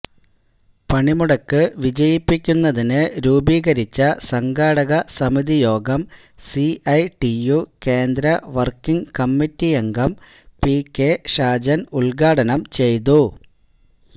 പണിമുടക്ക് വിജയിപ്പിക്കുന്നതിന് രൂപീകരിച്ച സംഘാടക സമിതി യോഗം സിഐടിയു കേന്ദ്ര വർക്കിങ് കമ്മിറ്റിയംഗം പി കെ ഷാജൻ ഉദ്ഘാടനം ചെയ്തു